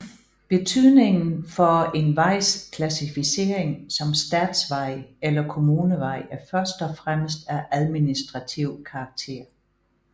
Betydningen for en vejs klassificering som statsvej eller kommunevej er først og fremmest af administrativ karakter